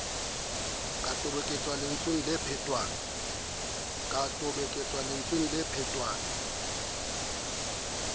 ka toboketso lentsweng le phetwang